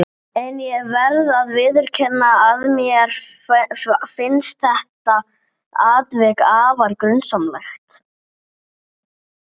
Hann var. besti vinur minn.